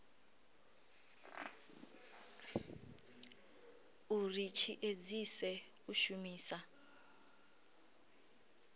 uri tshi edzise u shumisa